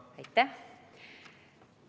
Aitäh!